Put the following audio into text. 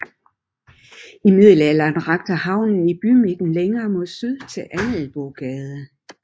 I middelalderen rakte havnen i bymidten længere mod syd til Angelbogade